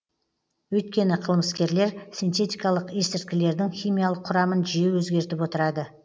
өйткені қылмыскерлер синтетикалық есірткілердің химиялық құрамын жиі өзгертіп отырады